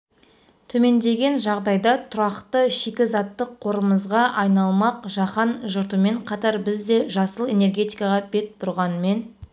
төмендеген жағдайда тұрақты шикізаттық қорымызға айналмақ жаһан жұртымен қатар біз де жасыл энергетикаға бет бұрғанмен